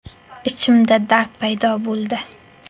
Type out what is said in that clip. Ichimda dard paydo bo‘ldi.